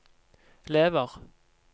lever